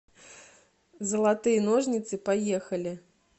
золотые ножницы поехали